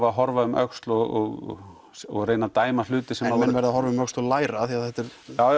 að horfa um öxl og og reyna að dæma hluti sem menn verða samt að horfa um öxl og læra þetta er